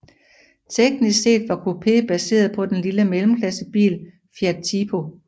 Teknisk set var Coupé baseret på den lille mellemklassebil Fiat Tipo